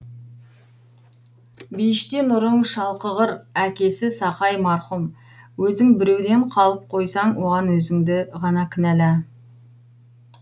бейіште нұрың шалқығыр әкесі сақай марқұм өзің біреуден қалып қойсаң оған өзіңді ғана кінәла